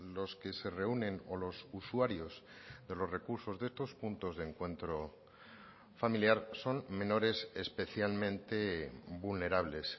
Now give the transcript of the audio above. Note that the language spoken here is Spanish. los que se reúnen o los usuarios de los recursos de estos puntos de encuentro familiar son menores especialmente vulnerables